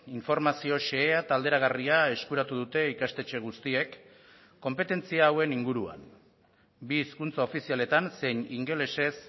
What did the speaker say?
informazio xehea eta alderagarria eskuratu dute ikastetxe guztiek konpetentzia hauen inguruan bi hizkuntza ofizialetan zein ingelesez